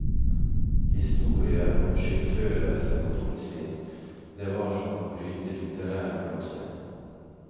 Historier om skyldfølelse og tungsinn, det var som å bryte litterær gråstein.